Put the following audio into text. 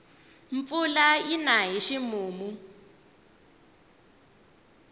mpfula yina hi ximumu